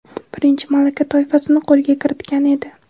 birinchi malaka toifasini qo‘lga kiritgan edi.